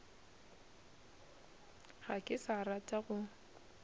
ga ke sa rata go